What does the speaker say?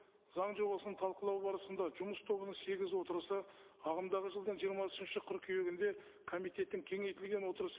заң жобасын талқылау барысында жұмыс тобының сегіз отырысы ағымдағы жылдың жиырмасыншы қыркүйегінде комитеттің кеңейтілген отырысы